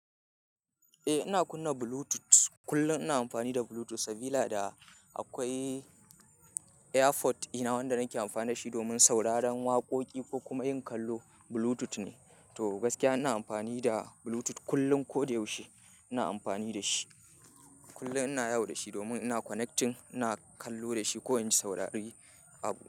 Eh ina kunna Bluetooth. Kullum ina amfani da Bluetooth, sabida akwai AirPod ina wanda nake amfani dashi domin sauraron waƙoƙi ko kuma yin kallo. Bluetooth ne, to gaskiya ina amfani da Bluetooth kullum. Ko da yaushe ina amfani da shi. Kullum ina yawo da shi domin ina connecting, ina kallo da shi ko in ji saurari abu.